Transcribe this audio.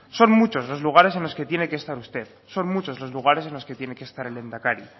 son muchos los lugares en los que tiene que estar usted son muchos los lugares en los que tiene que estar el lehendakari